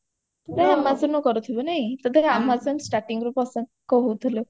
ତୁ ତ amazon ରୁ କରୁଥିବୁ ନାଇଁ ତତେ ତ amazon starting ରୁ ପସନ୍ଦ କହୁଥିଲୁ